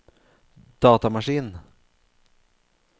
datamaskin